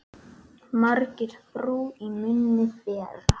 Margir brú í munni bera.